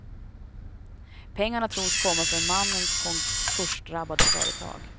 Pengarna tros komma från mannens konkursdrabbade företag.